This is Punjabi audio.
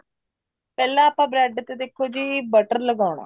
ਪਹਿਲਾਂ ਆਪਾਂ bread ਤੇ ਦੇਖੋ ਜੀ butter ਲਗਾਉਣਾ